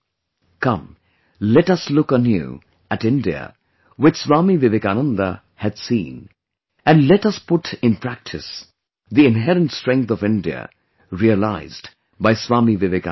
Come, let us look anew at India which Swami Vivekananda had seen and let us put in practice the inherent strength of India realized by Swami Vivekananda